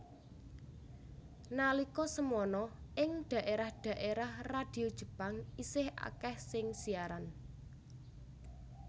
Nalika semana ing daérah daérah radio Jepang isih akèh sing siaran